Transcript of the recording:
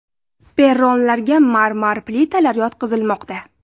Perronlarga marmar plitalar yotqizilmoqda.